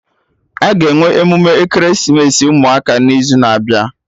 Aga enwe emume ekeresimesi ụmụaka n'izu na-abịa